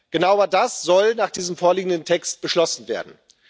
Genau das aber soll nach diesem vorliegenden Text beschlossen werden.